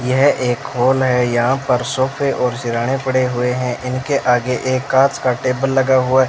यह एक हॉल है यहां पर सोफे और सिराहने पड़े हुए हैं इनके आगे एक कांच का टेबल लगा हुआ --